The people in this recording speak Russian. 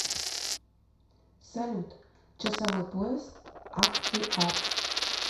салют часовой пояс ахтиар